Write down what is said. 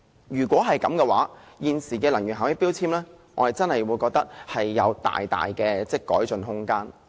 如此一來，現時的能源標籤將會有大大的改進空間。